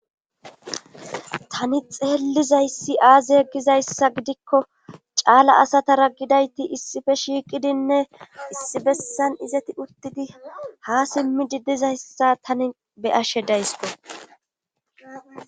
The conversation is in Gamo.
Tani xeellizayssi aazi yeggizayssa gidikko caala asatara gidayti issife shiiqidinne issi bessan izati urtidi ha simmidi dizayssa tani beyashe daysko.